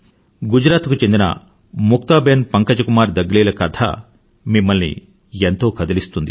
గుజరాత్ కు చెందిన ముక్తా బేన్ పంకజ్ కుమార్ దగ్లీ ల కథ మిమ్మల్ని ఎంతో కదిలిస్తుంది